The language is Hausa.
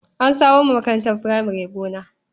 An samar wa makarantar furamare gona.